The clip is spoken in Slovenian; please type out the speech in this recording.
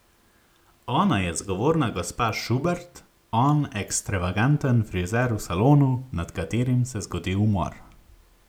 Ona je zgovorna gospa Šubert, on ekstavaganten frizer v salonu, nad katerim se zgodi umor ...